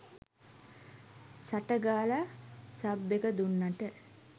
සට ගාලා සබ් එක දුන්නට